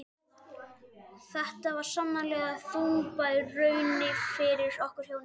Þetta var sannarlega þungbær raun fyrir okkur hjónin.